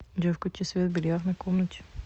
джой включи свет в бильярдной комнате